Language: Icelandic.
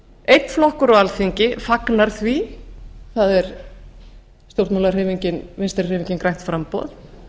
einn flokkur á alþingi fagnar því það er stjórnmálahreyfingin vinstri hreyfingin grænt framboð